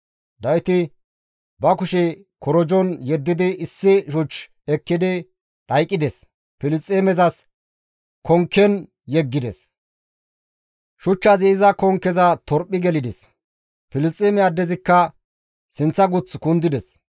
Dawiti ba kushe korojon yeddidi issi shuch ekkidi dhayqides; Filisxeemezas konkken yeggides; shuchchazi iza konkkeza torphi gelides; Filisxeeme addezikka sinththa guth kundides.